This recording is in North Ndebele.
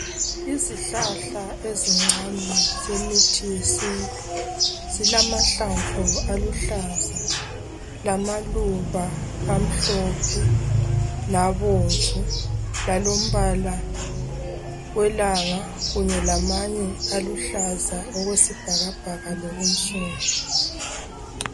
Izihlahla ezincane zemithi yesintu zilamahlamvu aluhlaza lamaluba amhlophe labomvu lalombala welanga kanye lamanye aluhlaza okwesibhakabhaka lobunsundu.